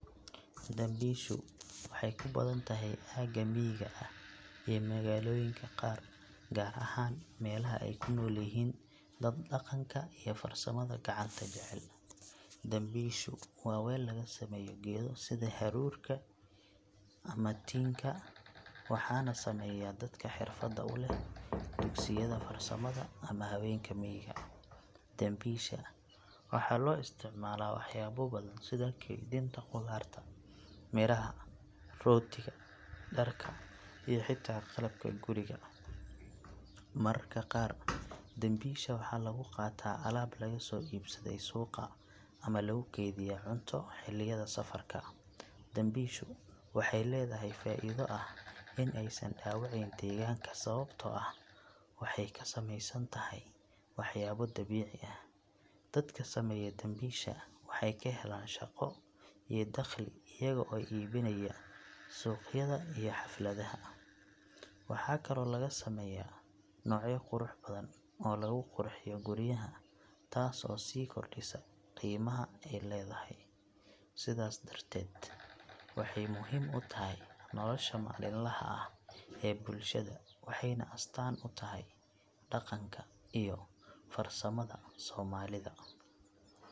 Dambisho waxay kubathantahay xaga mega aah ee makaloyinga qaar kaar ahan melaha ay kunolyahin dad daqanka iyo farsamada kacanta jaceel, dambesho wa weel lakasameeyoh keetha sitha aroork amah tinga waxanah sameeyah dadka xeerfada u leeh krsiyada farsamada mah hawenka mega, dambesha wxa lo isticmalah waxyalo bathan si kethenta qotharta meelaha rootika darka iyo xata qalabka guurika marka qaar dambesha waxalagu qatah alabta laga so ibsadoh suuqa amah lako geethiyah cunto xeliyada safarka, dambesha waxay leedahay faitha leeh Ina ayasan Hawa deganka sawabta oo aah waxay kasmeeysantahay waxyabo dabeeci aah , dadka sameeyoh dambisha waxay kaheelan shaqoo iyo daqhali eyago ibinaya sugyada iyo xalfladaha , waxakali oo lagasameeyah nocyo quruxbathan oo lagu qurxiyoh guuriyaha taaso si kordisah qimaha ay leedahay, setha darteed waxay muhim u tahay nolosha malinlaha aah ee bulshada waxayna astaan u tahay daqanka iyo farsamada somalida aah .